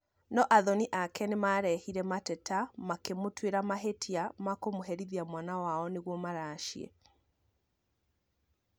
No athoni ake nimarehire mateta makĩmũtwira mahĩtio ma kũmũherithia mwana wao nĩguo maracie